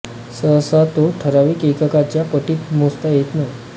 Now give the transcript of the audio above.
सहसा तो ठराविक एककाच्या पटीत मोजता येत नाही